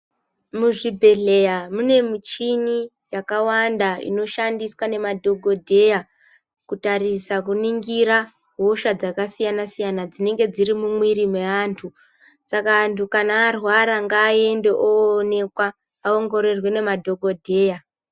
Muzvibhehleya mune muchini yakawanda inoshandiswa ngemadhokodheya kutarisa kuningira hosha dzakasiyana siyana dzinenge dziri mumwiri mweantu saka kana antu arwara ngaende oonekwa aongororwe ngemadhokodheya.